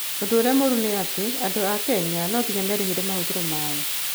ũndũ ũrĩa mũru nĩ atĩ andũ a Kenya no nginya merĩhĩre mahũthĩro mao.